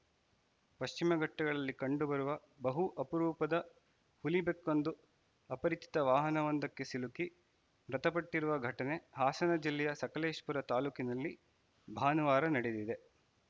ಪಶ್ಚಿಮಘಟ್ಟಗಳಲ್ಲಿ ಕಂಡುಬರುವ ಬಹು ಅಪರೂಪದ ಹುಲಿಬೆಕ್ಕೊಂದು ಅಪರಿಚಿತ ವಾಹನವೊಂದಕ್ಕೆ ಸಿಲುಕಿ ಮೃತಪಟ್ಟಿರುವ ಘಟನೆ ಹಾಸನ ಜಿಲ್ಲೆಯ ಸಕಲೇಶಪುರ ತಾಲೂಕಿನಲ್ಲಿ ಭಾನುವಾರ ನಡೆದಿದೆ